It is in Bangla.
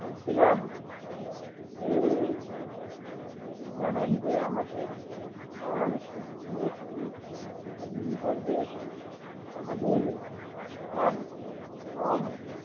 বলছিলাম যে জানেন যে আমাদের bangladesh ই একটি কৃষি নির্ভর দেশ আমাদের ধান গম